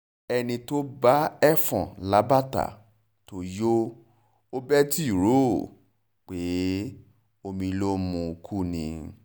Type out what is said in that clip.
ẹni tó bá ẹfọ̀n lábàtà tó yọ ọbẹ̀ tí ì ò rò pé omi ló mu kú ni